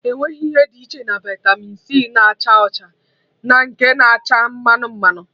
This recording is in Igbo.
Enweghị ihe dị iche na vitamị c na-acha ọcha na nke na-acha mmanụ mmanụ